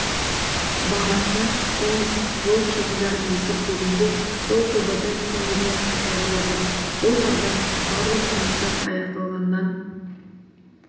бағасы және жол шығындарын есептегенде сол жобада теңгеден сатылып жатыр бұл жағдай барлық жұмыстар аяқталғаннан